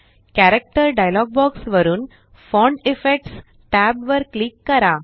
character dialog box वरुन font effects tab वर click करा